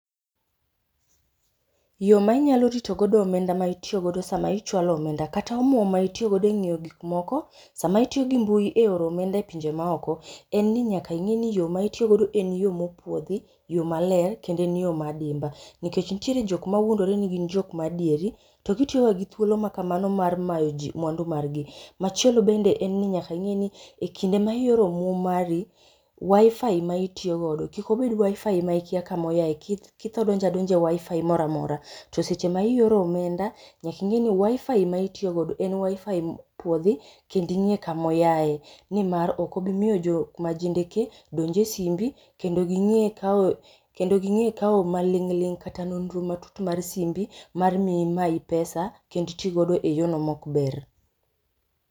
Yo ma inyalo rito godo omenda ma itiyo godo sama ichwalo omenda kata omuom ma itiyo godo e ng'iyo gik moko, sama itiyo gi mbui e oro omenda e pinje ma oko, en ni nyaka ing'e ni yo ma itiyo godo en yo mopuodhi, yo maler kendo en yo ma adimba nikech nitiere jok mawuondore ni gin jok ma adieri, to gitiyo ga gi thuolo ma kamano mar mayo ji mwandu mar gi. Machielo bende en ni nyaka ing'e ni e kinde ma ioro omuom mari, WiFi ma itiyo godo kik obed WiFi ma ikia kamoyae kith kitho donje adonja e WiFi mora amora to seche ma ioro omenda, nyaka ing'e ni WiFi mitiyo godo en WiFI mopuodhi kendo ing'e kamoyaye nimar ok obomiyo jo majendekee donj e simbi, kendo ging'e kaw kendo ging'e kaw maling'ling' kata nonro matut mar simbi mar mi imayi pesa kendo iti godo e yono mok ber